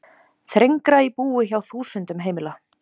Þrengra í búi hjá þúsundum heimila